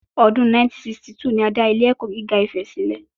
Ọdún 1962 ni a dá ilé ẹ̀kọ́ gíga Ifè sílẹ̀